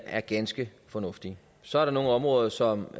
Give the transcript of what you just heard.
er ganske fornuftige så er der nogle områder som